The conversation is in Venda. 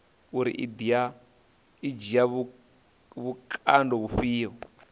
uri i dzhia vhukando vhufhio